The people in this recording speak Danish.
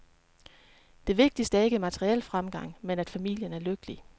Det vigtigste er ikke materiel fremgang, men at familien er lykkelig.